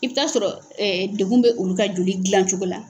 I bɛ taa sɔrɔ degun bɛ olu ka joli dilan cogo la.